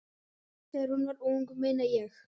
Þegar hún var ung, meina ég.